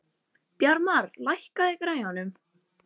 Bjarmar, lækkaðu í græjunum.